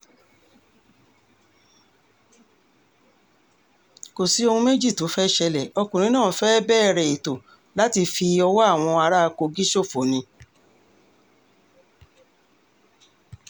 kò sí ohun méjì tó fẹ́ẹ́ ṣẹlẹ̀ ọkùnrin náà fẹ́ẹ́ bẹ̀rẹ̀ ètò láti fi ọwọ́ àwọn ará kogi ṣòfò ni